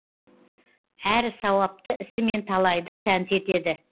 әрі сауапты ісімен талайды тәнті етеді